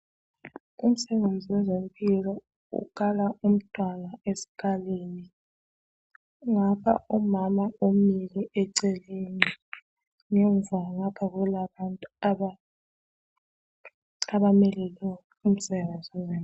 Umsebenzi wezempilo ukala umntwana esikalini ngapha umama umile eceleni. Ngemva ngapha kulabantu abamelele umsebenzi wonalo.